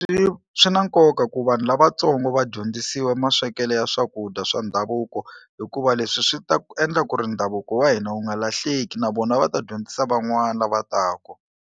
Swi swi na nkoka ku vanhu lavatsongo va dyondzisiwa maswekelo ya swakudya swa ndhavuko hikuva leswi swi ta endla ku ri ndhavuko wa hina wu nga lahleki na vona va ta dyondzisa van'wana lava taku.